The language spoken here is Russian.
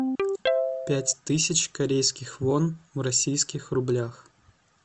пять тысяч корейских вон в российских рублях